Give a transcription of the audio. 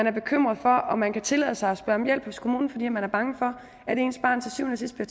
er bekymret for om man kan tillade sig at spørge om hjælp hos kommunen fordi man er bange for at ens barn til syvende